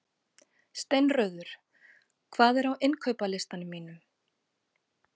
Steinröður, hvað er á innkaupalistanum mínum?